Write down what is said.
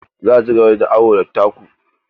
Za a cigaba da yin awo da taku.